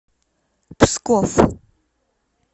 псков